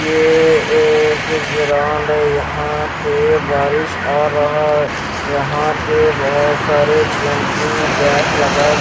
यह एक ग्राउंड है यहा पें बारीश आ रहा है यहां पे बहुत सारे जमपिंग जैक लगाए---